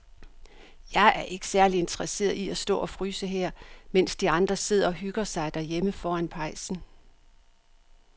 Jeg er ikke særlig interesseret i at stå og fryse her, mens de andre sidder og hygger sig derhjemme foran pejsen.